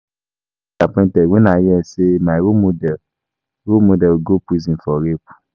I dey disappointed wen I hear say my role model role model go prison for rape